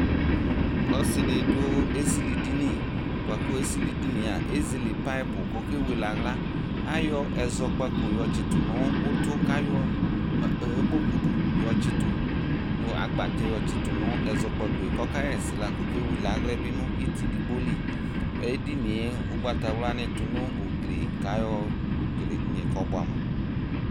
Ɔsɩ dɩ dʋ esilidini bʋa kʋ esilidini yɛ a, ezele payɩpʋ kʋ ɔkewele aɣla Ayɔ ɛzɔkpako yɔtsɩtʋ nʋ ʋtʋ kʋ ayɔ ǝ ɛmɔkudu yɔtsɩtʋ nʋ agbatɛ yɔtsɩtʋ nʋ ɛzɔkpako yɛ kʋ ɔkaɣa ɛsɛ la kʋ ɔkewele aɣla yɛ bɩ nʋ ɩtɩ edigbo li Edini yɛ, ʋgbatawlanɩ tʋ nʋ ugli kʋ ayɔkele edini yɛ kɔbʋɛamʋ